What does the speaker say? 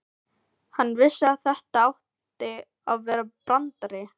Hann vissi að þetta átti að vera brandari.